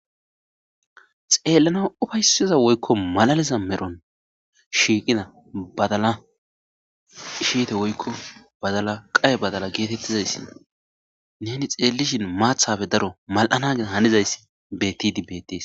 xeellana ufaysiza woykko malaliza medhon shiiqida badala shiite woykko badala qaye badala geetettizayssin neni xeellishin maathafe daro mal'anas hanizayssi bettidi betees